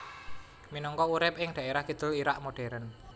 Minangka urip ing dhaerah kidul Irak modern